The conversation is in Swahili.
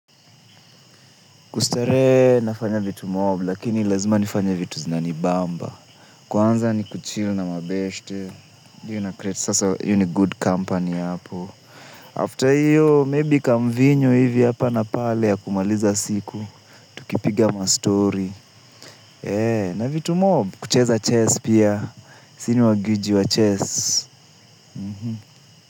Kustarehe nafanya vitu mob, lakini lazima nifanye vitu zinanibamba. Kwanza ni kuchil na mabeshte. Sasa iyo ni good company hapo. After iyo, maybe kamvinyo hivi yapa na pale ya kumaliza siku. Tukipiga ma story. Na vitu mob, kucheza chess pia. Sini wa gwiji wa chess.